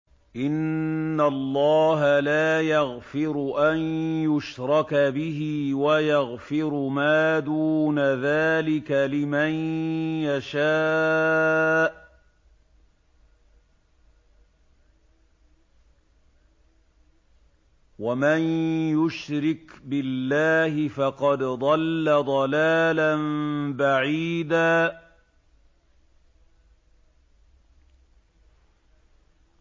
إِنَّ اللَّهَ لَا يَغْفِرُ أَن يُشْرَكَ بِهِ وَيَغْفِرُ مَا دُونَ ذَٰلِكَ لِمَن يَشَاءُ ۚ وَمَن يُشْرِكْ بِاللَّهِ فَقَدْ ضَلَّ ضَلَالًا بَعِيدًا